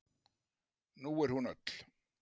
En nú er hún öll.